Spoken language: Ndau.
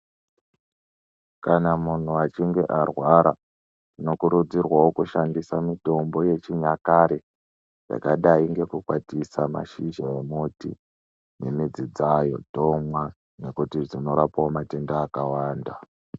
Kana munhu achinge arwara tino kurudzirwawo kushandisa mitombo ye chinyakare yakadai neku kwatisa mashizha e muti ne midzi dzayo tomwa nekuti dzino rapawo matenda aka wanda.